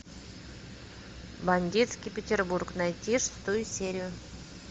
бандитский петербург найти шестую серию